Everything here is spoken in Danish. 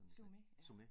Sumé ja